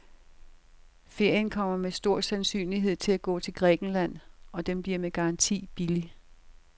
Ferien kommer med stor sandsynlighed til at gå til Grækenland, og den bliver med garanti billig.